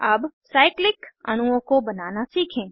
अब साइक्लिक अणुओं को बनाना सीखें